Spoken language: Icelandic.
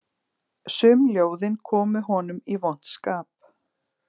Sum ljóðin komu honum í vont skap